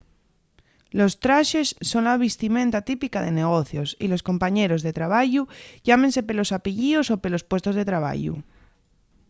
los traxes son la vistimenta típica de negocios y los compañeros de trabayu llámense pelos apellíos o pelos puestos de trabayu